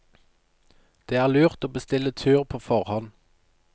Det er lurt å bestille tur på forhånd.